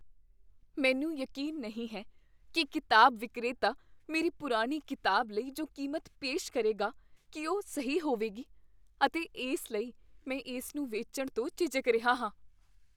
ਮੈਨੂੰ ਯਕੀਨ ਨਹੀਂ ਹੈ ਕੀ ਕਿਤਾਬ ਵਿਕਰੇਤਾ ਮੇਰੀ ਪੁਰਾਣੀ ਕਿਤਾਬ ਲਈ ਜੋ ਕੀਮਤ ਪੇਸ਼ ਕਰੇਗਾ, ਕੀ ਉਹ ਸਹੀ ਹੋਵੇਗੀ, ਅਤੇ ਇਸ ਲਈ ਮੈਂ ਇਸ ਨੂੰ ਵੇਚਣ ਤੋਂ ਝਿਜਕ ਰਿਹਾ ਹਾਂ।